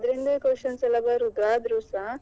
ಆದ್ರೆ ಆದ್ರಿಂದಲೇ questions ಎಲ್ಲಾ ಬರುದು ಆದ್ರೂಸ.